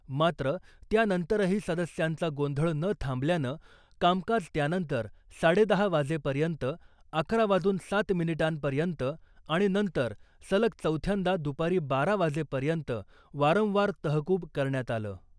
मात्र , त्यानंतरही सदस्यांचा गोंधळ न थांबल्यानं कामकाज त्यानंतर साडेदहा वाजेपर्यंत , अकरा वाजून सात मिनिटांपर्यंत आणि नंतर सलग चौथ्यांदा दुपारी बारा वाजेपर्यंत वारंवार तहकूब करण्यात आलं .